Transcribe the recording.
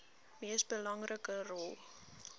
mees belangrike rol